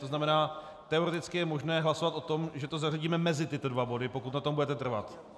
To znamená, teoreticky je možné hlasovat o tom, že to zařadíme mezi tyto dva body, pokud na tom budete trvat.